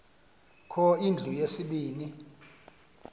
kho indlu yesibini